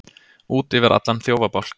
Út yfir allan þjófabálk